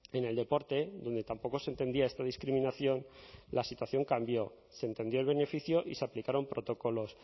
en el deporte donde tampoco se entendía esta discriminación la situación cambió se entendió el beneficio y se aplicaron protocolos